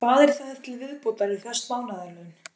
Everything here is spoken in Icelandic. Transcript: Hvað er þar til viðbótar við föst mánaðarlaun?